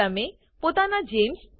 તમે તમારા પોતાના જીઇએમએસ